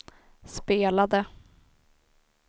spelade